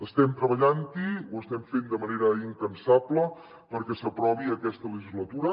estem treballant hi ho estem fent de manera incansable perquè s’aprovi aquesta legislatura